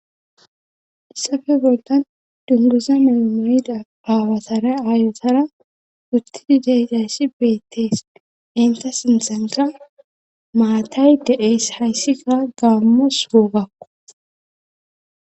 issafe boldan dunguza memayida baawatara aayotara uttidi deaysi beettees inta sinthanka maatay de7es hayssika gaammos guugakko